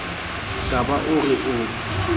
ka ba o re o